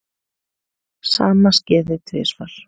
Sama skeði tvisvar.